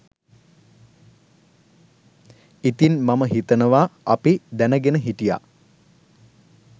ඉතින් මම හිතනවා අපි දැනගෙන හිටියා